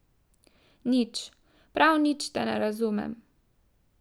Nič, prav nič te ne razumem.